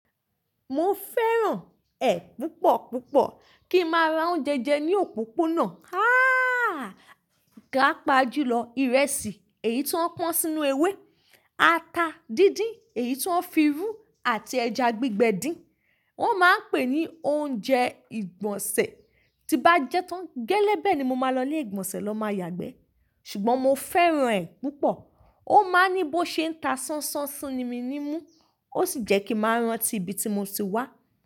Mo fẹ́ràn ẹ̀ púpọ̀ púpọ̀ kí n máa ra oúnjẹ jẹ ní òpópónà. Há! Gà pájúlọ, ìrẹsì èyí tó pọ́n sínú ewé, ata díndín, èyí tó ń fi rú àti ẹja gbígbẹ din. Wọ́n máa ń pè é ní oúnjẹ ìgbọ̀nsẹ̀. Tí bá jẹ tán gẹ́lẹ́ bẹ́ẹ̀ ni mo máa lọ ilé ìgbọ̀nsẹ̀ lọ máa yàgbẹ́. Ṣùgbọ́n mo fẹ́ràn ẹ̀ púpọ̀. Ó máa ń ní bó ṣe ń ta ṣánṣán sí mi nímú ó sì jẹ́ kí mo rántí ibi tí mo ti wá.